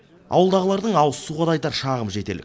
ауылдағылардың ауызсуға да айтар шағымы жетерлік